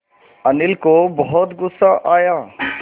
अनिल को बहुत गु़स्सा आया